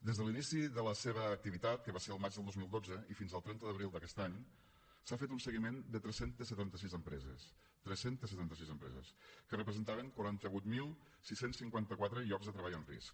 des de l’inici de la seva activitat que va ser el maig del dos mil dotze i fins al trenta d’abril d’aquest any s’ha fet un seguiment de tres cents i setanta sis empreses tres cents i setanta sis empreses que representaven quaranta vuit mil sis cents i cinquanta quatre llocs de treball en risc